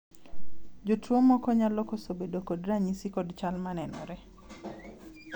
jotuo moko nyalo koso bedo kod ranyisi kod chal manenore